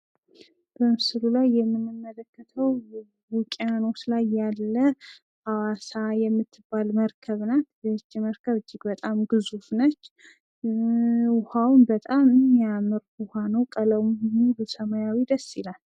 በምስሉ ላይ የምንመለከተው ውቅያኖስ ላይ ያለ ሀዋሳ የምትባል መርከብ ናት። ይች መርከብ እጅግ በጣም ግዙፍ ነች። ውሃውም በጣም የሚያምር ቀለሙም ሰማያዊ ደስ ይላል።